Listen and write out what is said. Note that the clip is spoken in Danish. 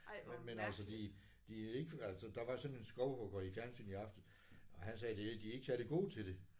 Men men altså de de er ikke altså der var sådan en skovhugger i fjernsynet i aftes og han sagde de er de er ikke særlig gode til det